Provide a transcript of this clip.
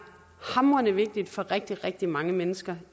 hamrende vigtigt for rigtig rigtig mange mennesker